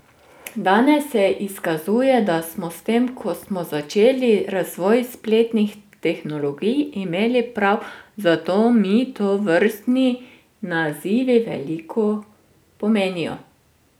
Danes se izkazuje, da smo s tem, ko smo začeli razvoj spletnih tehnologij, imeli prav, zato mi tovrstni nazivi veliko pomenijo.